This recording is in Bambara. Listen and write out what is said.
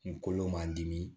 Kunkolo man dimi